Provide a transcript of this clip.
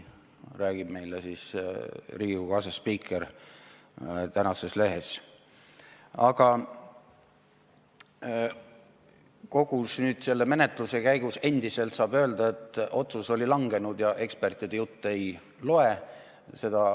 Aga kogu selle menetluse käigus saab endiselt öelda, et otsus oli langenud ja ekspertide jutt ei loe.